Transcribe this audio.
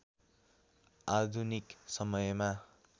आधुनिक समयमा